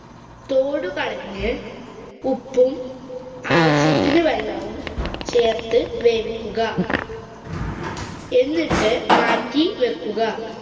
തോടുകളഞ്ഞ് ഉപ്പും ആവശ്യത്തിനു വെള്ളവും ചേര്‍ത്തു വേവിക്കുക. എന്നിട്ട് മാറ്റി വെക്കുക.